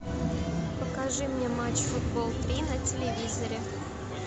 покажи мне матч футбол три на телевизоре